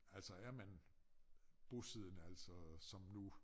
Altså er man bosiddende altså som nu